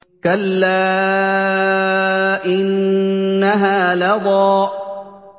كَلَّا ۖ إِنَّهَا لَظَىٰ